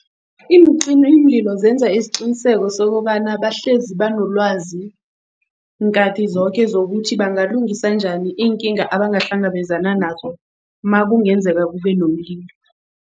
Iincimimlilo zenza isiqiniseko sokobana bahlezi banolwazi nkhathi zoke zokuthi bangalungisa njani iinkinga abangahlangabezana nazo makungenzeka kube nomlilo.